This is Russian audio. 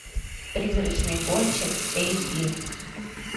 призрачный гонщик эйч ди